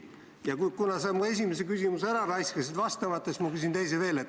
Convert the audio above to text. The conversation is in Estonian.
Ja kuna sa mu esimese küsimuse raiskasid vastamata ära, siis ma küsin teise küsimuse veel.